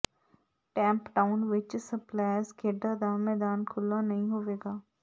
tem town ਵਿਚ splash ਖੇਡਾਂ ਦਾ ਮੈਦਾਨ ਖੁੱਲ੍ਹਾ ਨਹੀਂ ਹੋਵੇਗਾ